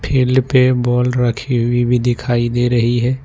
Field पे ball रखी हुई भी दिखाई दे रही है।